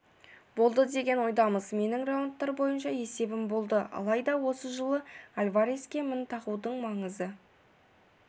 болды деген ойдамыз менің раундтар бойынша есебім болды алайда осы жолы альвареске мін тағудың маңызы